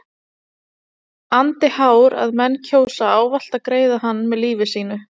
andi hár að menn kjósa ávallt að greiða hann með lífi sínu.